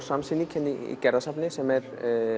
samsýning hérna í Gerðarsafni sem er